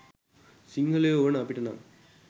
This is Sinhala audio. සිංහලයෝ වන අපිට නම්